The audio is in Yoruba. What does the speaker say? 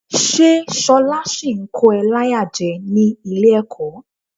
Ṣé ṣọlá ṣì ń kó ẹ láyà jẹ ní ilé-ẹ̀kọ́?